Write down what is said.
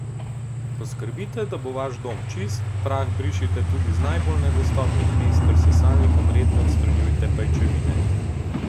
Poskrbite, da bo vaš dom čist, prah brišite tudi z najbolj nedostopnih mest ter s sesalnikom redno odstranjujete pajčevine.